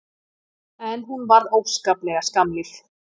En hún varð óskaplega skammlíf.